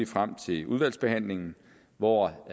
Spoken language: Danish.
frem til udvalgsbehandlingen hvor